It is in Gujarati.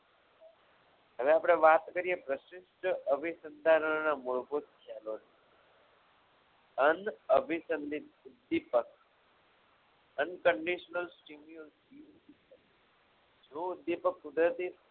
હવે આપણે વાત કરીએ વશિષ્ઠ વિશિષ્ટ અવિનાની સંતાનોના મૂળભૂત ખ્યાલોની અનઅભિસંદિત ઉદ્દીપક unconditional steamunity જો ઉદ્દીપક કુદરતી